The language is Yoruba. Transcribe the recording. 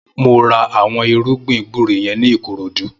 Mó rà awọn irùgbin gbùré yèn ni Ikorodu